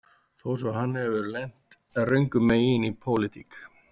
Þó svo að hann hafi lent röngum megin í pólitík